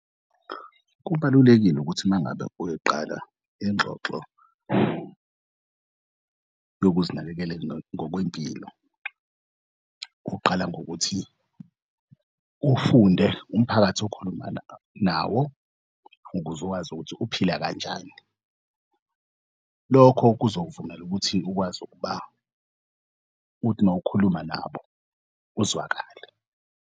Kubalulekile ukuthi mangabe uyoqala ingxoxo yokuzinakekela ngokwempilo kuqala ngokuthi uw'funde umphakathi okhuluma nawo ukuz'wazi ukuthi uphila kanjani, lokho kuzovumela ukuthi ukwazi umawukhuluma nabo uzwakale.